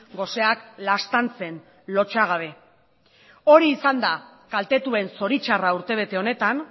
goseak laztantzen lotsagabe hori izan da kaltetuen zoritzarra urtebete honetan